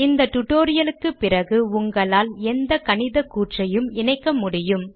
இந்த டியூட்டோரியல் க்குப் பிறகு உங்களால் எந்த கணித கூற்றையும் இணைக்க முடியும்